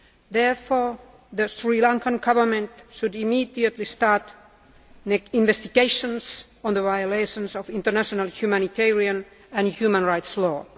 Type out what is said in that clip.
Therefore, the Sri Lankan Government should immediately start investigations on the violations of international humanitarian and human rights law.